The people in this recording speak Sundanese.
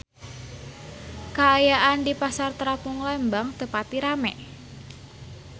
Kaayaan di Pasar Terapung Lembang teu pati rame